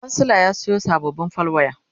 kansila ya Sayo sababbin fal waya